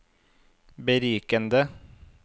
berikende